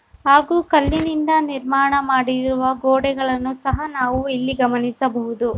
ಹಾಗೂ ಕಲ್ಲಿನಿಂದ ನಿರ್ಮಾಣ ಮಾಡಿರುವ ಗೋಡೆಗಳನ್ನು ಸಹ ನಾವು ಇಲ್ಲಿ ಗಮನಿಸಬಹುದು.